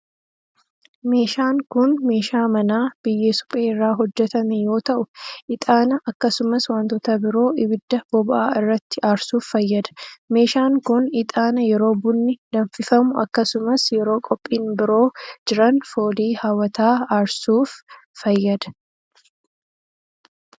Meeshaan kun ,meeshaa manaa biyyee suphee irraa hojjatame yoo ta'u, ixaana akkasumas wantoota biroo ibidda boba'aa irratti aarsuuf fayyada. Meeshaan kun, ixaana yeroo bunni danfifamu akkasumas yeroo qophiin biroo jiran foolii haw'ataa aarsuuf fayyada.